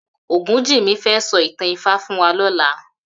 Ogunjimi fè sò itàn Ifá fún wà lòlâ